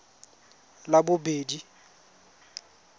labobedi